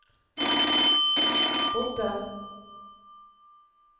bodde